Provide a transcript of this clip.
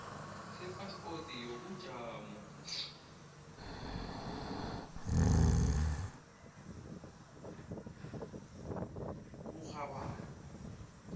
sephaspoti yobujamo oburhabako